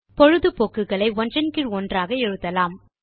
பொழுதுபோக்குகளை ஒன்றன் கீழ் ஒன்றாக எழுதலாம்